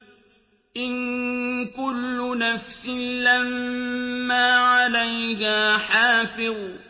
إِن كُلُّ نَفْسٍ لَّمَّا عَلَيْهَا حَافِظٌ